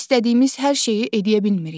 İstədiyimiz hər şeyi edə bilmirik.